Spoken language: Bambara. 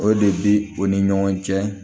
O de bi u ni ɲɔgɔn cɛ